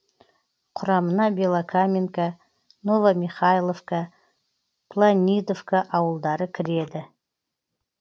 құрамына белокаменка новомихайловка планидовка ауылдары кіреді